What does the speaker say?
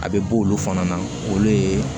A bɛ bɔ olu fana na olu ye